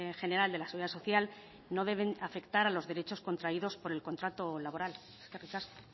general de la seguridad social no deben afectar a los derechos contraídos por el contrato laboral eskerrik asko